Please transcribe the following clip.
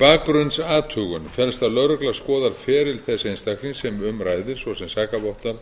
bakgrunnsathugun felst að lögregla skoðar feril þess einstakling sem um ræðir svo sem sakavottorð